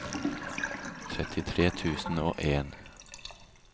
trettitre tusen og en